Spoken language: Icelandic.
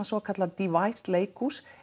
svokallað leikhús